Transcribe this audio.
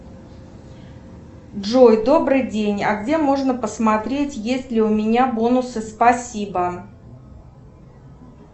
джой добрый день а где можно посмотреть есть ли у меня бонусы спасибо